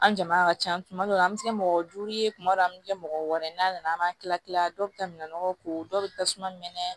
An jama ka ca tuma dɔw la an bɛ se kɛ mɔgɔ duuru ye tuma dɔ an bɛ kɛ mɔgɔ wɔɔrɔ ye n'a nana an b'a kila kila dɔw bɛ taa minɛnɔgɔw ko dɔw bɛ tasuma mɛnɛ